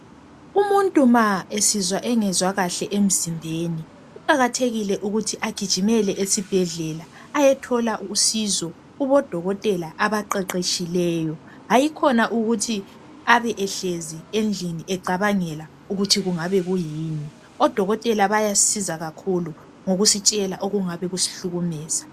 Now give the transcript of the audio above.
Umuntu ma esizwa engezwa kahle emzimbeni kuqakathekile ukuthi agijimele esibhedlela ayethola usizo kubodokotela abaqeqetshileyo kulokuthi abe ehlezi endlini ecabangela ukut kungabe kuyini . Odokotela bayasisiza ngokusitshela okungabe kusihlukumeza